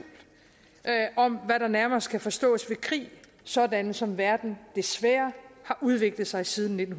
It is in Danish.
om hvad der nærmest kan forstås ved krig sådan som verden desværre har udviklet sig siden nitten